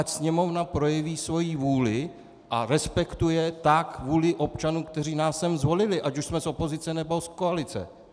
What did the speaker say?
Ať Sněmovna projeví svoji vůli a respektuje tak vůli občanů, kteří nás sem zvolili, ať už jsme z opozice, nebo z koalice.